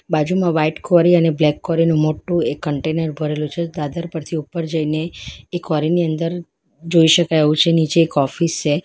બાજુમાં વાઈટ કોરી અને બ્લેક કોરીનું મોટું એક કન્ટેનર ભરેલું છે દાદર પરથી ઉપર જઈને એ કોરી ની અંદર જોઈ શકાય એવું છે નીચે એક ઓફિસ છે.